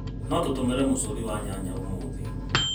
No tũtũmĩre mũcũthi wa nyanya ũmũthĩ?